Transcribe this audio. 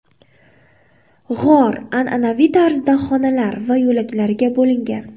G‘or an’anaviy tarzda xonalar va yo‘laklarga bo‘lingan.